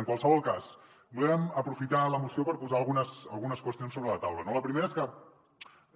en qualsevol cas volem aprofitar la moció per posar algunes qüestions sobre la taula no la primera és que